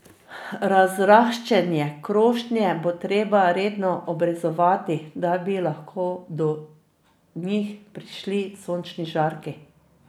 Razraščene krošnje bo treba redno obrezovati, da bi lahko do njih prišli sončni žarki.